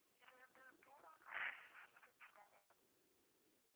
இது வந்து agency தான